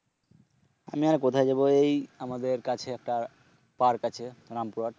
আমি আর কোথায় যাব এই আমাদের কাছে একটাপার্ক আছে, রামপুরহাট